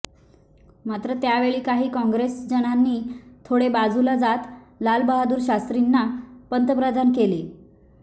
मात्र त्यावेळी काही काँग्रेसजनांनी थोडे बाजूला जात लालबहाद्दुर शास्त्रींना पंतप्रधान केले